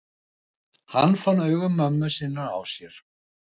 Hann fann augu mömmu sinnar á sér.